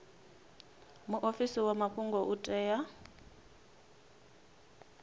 muofisi wa mafhungo u tea